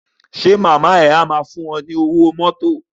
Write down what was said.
Ṣé màmá ẹ máa fún ẹ ní owó mọ́tò.